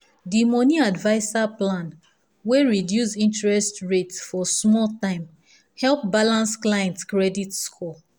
the money adviser plan wey reduce interest rate for small time help balance clients credit score.